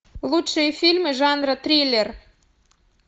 лучшие фильмы жанра триллер